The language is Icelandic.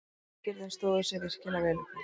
Drengirnir stóðu sig virkilega vel í kvöld.